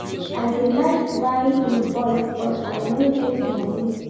I dey like buy in bulk but I no get moni.